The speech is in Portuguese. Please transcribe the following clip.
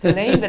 Lembra?